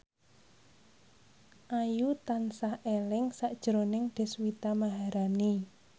Ayu tansah eling sakjroning Deswita Maharani